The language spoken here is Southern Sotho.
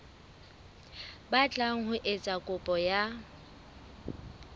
batlang ho etsa kopo ya